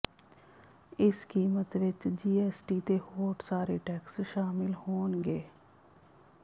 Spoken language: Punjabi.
ਇਸ ਕੀਮਤ ਵਿਚ ਜੀਐਸਟੀ ਤੇ ਹੋਰ ਸਾਰੇ ਟੈਕਸ ਸ਼ਾਮਿਲ ਹੋਣਗੇ